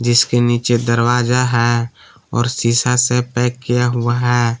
इसके नीचे दरवाजा है और शीशा से पैक किया हुआ है।